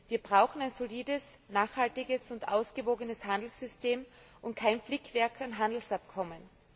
Wir brauchen ein solides, nachhaltiges und ausgewogenes Handelssystem und kein Flickwerk an Handelsabkommen.